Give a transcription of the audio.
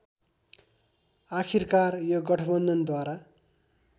आखिरकार यो गठबन्धनद्वारा